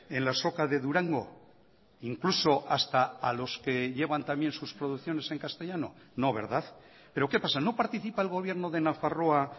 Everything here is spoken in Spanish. en la azoka de durango incluso hasta a los que llevan también sus producciones en castellano no verdad pero qué pasa no participa el gobierno de nafarroa